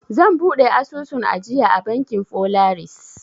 Zan buɗe asusun ajiya a bankin folaris.